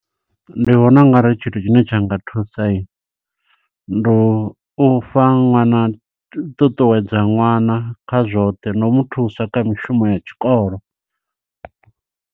Ndi vhona ungari tshithu tshine tsha nga thusa, ndi u u fha ṅwana ṱuṱuwedza ṅwana kha zwoṱhe, no u muthusa kha mishumo ya tshikolo.